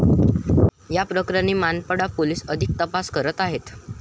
या प्रकरणी मानपाडा पोलीस अधिक तपास करत आहेत.